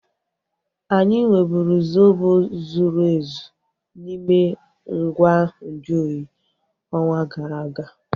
Anyị nweburu zobo zuru ezu n'ime ngwa nju oyi ọnwa gara aga